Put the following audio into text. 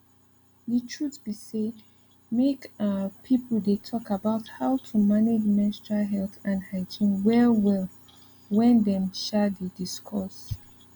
the truth be say make um people dey talk about how to manage menstrual health and hygiene well well wen them um dey discuss